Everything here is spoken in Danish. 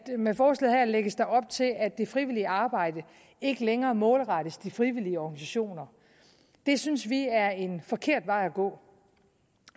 med forslaget her lægges op til at det frivillige arbejde ikke længere målrettes de frivillige organisationer det synes vi er en forkert vej at gå